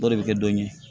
O de bɛ kɛ don ye